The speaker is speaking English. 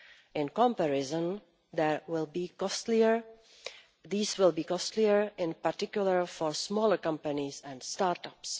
In comparison, these will be costlier, in particular for smaller companies and start ups.